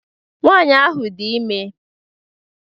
Nwaanyị ahụ dị ime.